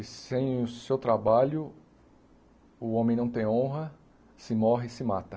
E sem o seu trabalho, o homem não tem honra, se morre e se mata.